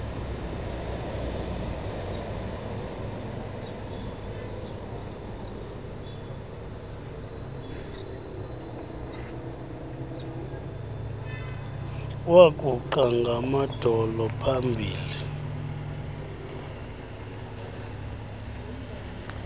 waguqa ngamadolo pahambi